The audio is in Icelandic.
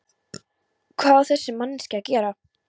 Hvað á þessi manneskja að gera?